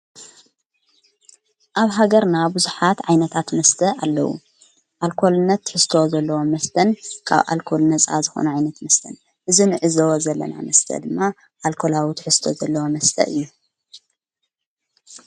ኣብ ሃገርና ብዙኃት ዓይነታት መስተ ኣለዉ ኣልኰልነት ትሕዝተ ዘለዎ መስተን ካብ ኣልኮልነፃ ዝኾነ ዓይነት መስተን እዝ ንእዝወ ዘለና መስተ ድማ ኣልኮላዊ ትሕዝተ ዘለወ መስተ እዩ።